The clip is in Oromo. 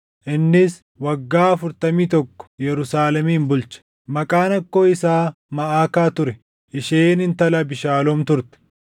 innis waggaa afurtamii tokko Yerusaalemin bulche. Maqaan akkoo isaa Maʼakaa ture; isheen intala Abiishaaloom turte.